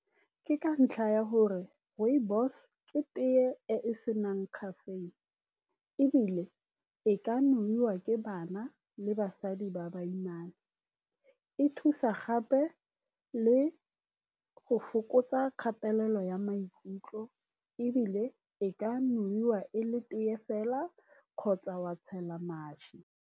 Ke ka ntlha ya gore rooibos-e ke tea e e senang caffeine, ebile e ka nowa ke bana le basadi ba baimana. E thusa gape le go fokotsa kgatelelo ya maikutlo, ebile e ka nowa e le tea fela kgotsa wa tshela mašwi.